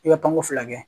I bɛ kanko fila kɛ